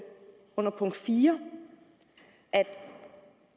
under punkt fire